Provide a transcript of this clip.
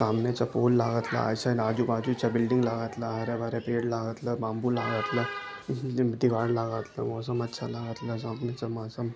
सामनेच्या फूल लागतला आइट साइड अजू-बाजूच्या बिल्डिंग लगतला हरे-भरे पेड़ लागत ला बाम्बू लागतला इसमे लागतला मौसम अच्छा लगतला सामने से मौसम --